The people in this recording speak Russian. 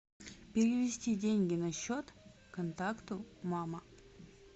перевести деньги на счет контакту мама